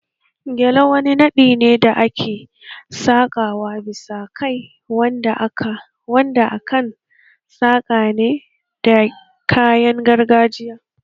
Gele wani naɗi ne da ake saka wa bisa kai wanda akan saka ne da kayan gargajiya